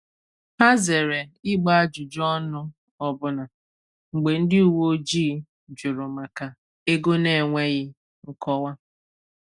Ha zere ịgba ajụjụ ọnụ ọbụna mgbe ndị uwe ojii jụrụ maka ego n’enweghị nkọwa.